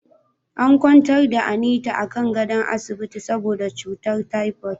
An kwantar da Anita akan gadon asibiti saboda cutar typoid.